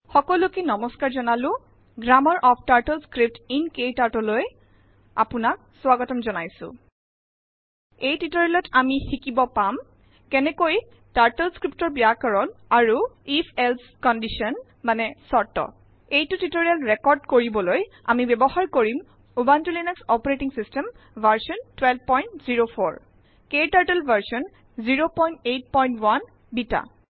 সকলোকে নমস্কাৰ জনালো গ্ৰাম্মাৰ অফ টাৰ্টলস্ক্ৰিপ্ট ইন Kturtleলৈ আেপানাক স্বাগতম জনাইছো এই টিউটৰিয়েলত আমি শিকব পাম কেনেকৈ টাৰ্টল স্ক্ৰীপ্টৰ বয়াকৰণ আৰু if এলছে কণ্ডিশ্যন মানে চৰ্ত । এইটো টিউটৰিয়েল ৰেকৰ্দ কৰিবলৈ আমি ব্যবহাৰ কৰিম Ubuntu Linux OS version 1204 KTurtle version 081 বেটা